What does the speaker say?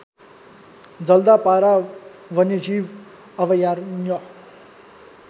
जल्दापारा वन्यजीव अभयारण्य